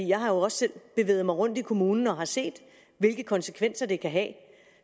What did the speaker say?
jeg har også selv bevæget mig rundt i kommunen og har set hvilke konsekvenser det kan have